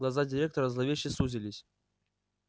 глаза директора зловеще сузились